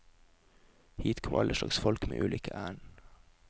Hit kom alle slags folk med ulike ærend.